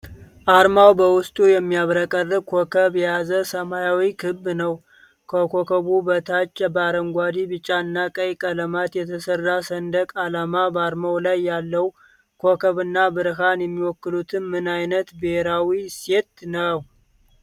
አርማው በውስጡ የሚያብረቀርቅ ኮከብ የያዘ ሰማያዊ ክብ ነው። ከኮከቡ በታች በአረንጓዴ፣ ቢጫ እና ቀይ ቀለማት የተሰራ ሰንደቅ አለ። በአርማው ላይ ያለው ኮከብ እና ብርሃን የሚወክሉት ምን አይነት ብሔራዊ እሴት ነው?